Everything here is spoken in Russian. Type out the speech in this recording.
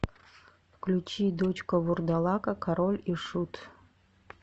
включи дочка вурдалака король и шут